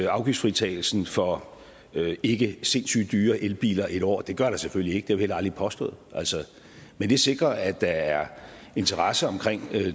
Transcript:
afgiftsfritagelsen for ikke sindssygt dyre elbiler et år det gør der selvfølgelig ikke det heller aldrig påstået men det sikrer at der er interesse omkring